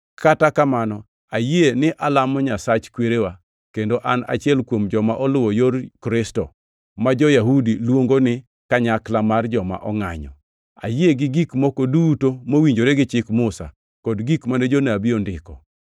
Kata kamano, ayie ni alamo Nyasach kwerewa, kendo an achiel kuom joma oluwo Yor Kristo, ma jo-Yahudi luongo ni kanyakla mar joma ongʼanyo. Ayie gi gik moko duto mowinjore gi Chik Musa kod gik mane Jonabi ondiko,